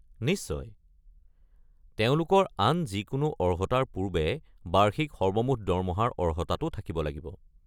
নিশ্চয়, তেওঁলোকৰ আন যিকোনো অৰ্হতাৰ পূৰ্বে বাৰ্ষিক সৰ্বমুঠ দৰমহাৰ অৰ্হতাটো থাকিব লাগিব।